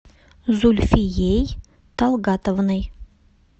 зульфией талгатовной